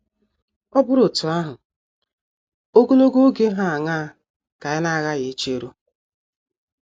Ọ bụrụ otú ahụ, ogologo oge hà aṅaa ka anyị na - aghaghị icheru?